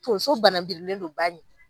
Tonso banabirilen don ba ɲɛ